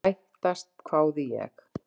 Sættast? hváði ég.